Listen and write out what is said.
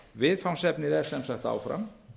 viðfangsefnið er sem sagt áfram